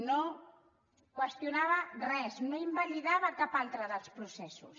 no qüestionava res no invalidava cap altre dels processos